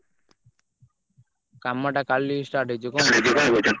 କାମ ଟା କାଲି start ହେଇଯିବ ହଁ।